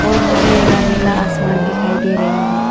और मुझे यहां नीला आसमान दिखाई दे रही है।